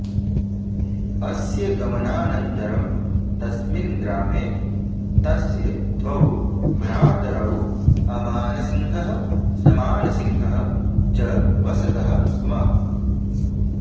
अस्य गमनान्तरं तस्मिन् ग्रामे तस्य द्वौ भ्रातरौ अमान सिंहः समान सिंहः च वसतः स्म